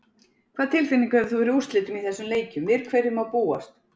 Hvaða tilfinningu hefur þú fyrir úrslitum í þessum leikjum, við hverju má búast?